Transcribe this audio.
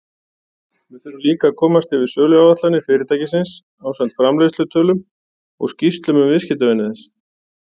Við þurfum líka að komast yfir söluáætlanir fyrirtækisins ásamt framleiðslutölum og skýrslum um viðskiptavini þess.